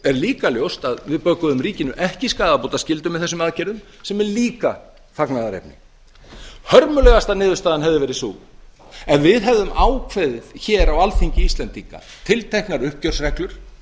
er líka ljóst að við bökuðum ríkinu ekki skaðabótaskyldu með þessum aðgerðum sem er líka fagnaðarefni hörmulegasta niðurstaðan hefði verið sú ef við hefðum ákveðið hér á alþingi íslendinga tilteknar uppgjörsreglur